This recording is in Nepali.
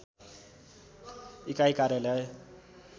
इकाइ कार्यालय